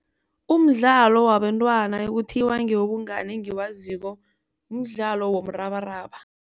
Umdlalo wabantwana ekuthiwa ngewobungani engiwaziko mdlalo womrabaraba.